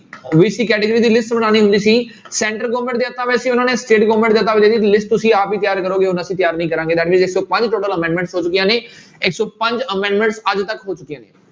BC category ਦੀ list ਬਣਾਉਣੀ ਹੁੰਦੀ ਸੀ center government ਦੇ ਹੱਥਾਂ ਵਿੱਚ ਸੀ ਉਹਨਾਂ ਨੇ state government list ਤੁਸੀਂ ਆਪ ਹੀ ਤਿਆਰ ਕਰੋਂਗੇ ਹੁਣ ਅਸੀਂ ਤਿਆਰ ਨਹੀਂ ਕਰਾਂਗੇ that means ਇੱਕ ਸੌ ਪੰਜ total amendment ਹੋ ਚੁੱਕੀਆਂ ਨੇ ਇੱਕ ਸੌ ਪੰਜ amendments ਅੱਜ ਤੱਕ ਹੋ ਚੁੱਕੀਆਂ ਨੇ।